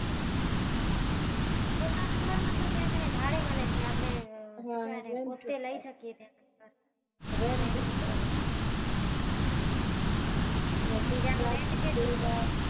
પોતાનું ઘર મતલબ ત્યાં ભાડે મળે કે આપડે રેવું કે પોત્તે લઇ શકીએ rent ઉપર અચ્છા તો ત્યાં નું rent કેટલું હોય